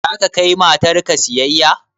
Za ka kai matar ka siyayya?